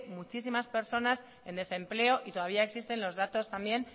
muchísimas personas en desempleo y todavía existen los datos también